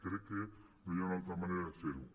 crec que no hi ha una altra manera de fer ho